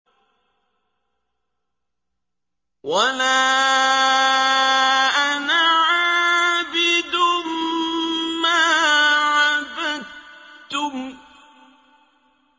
وَلَا أَنَا عَابِدٌ مَّا عَبَدتُّمْ